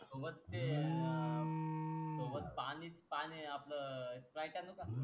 ते अं सोबत पानीत पाणी आपल अं स्प्राईट आणू का